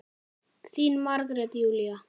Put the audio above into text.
Þín Margrét Júlía.